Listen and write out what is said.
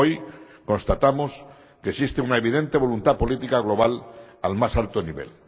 Hoy constatamos que existe una evidente voluntad política global al más alto nivel.